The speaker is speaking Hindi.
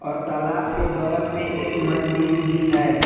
और तालाब के बगल में एक मंदिर भी है।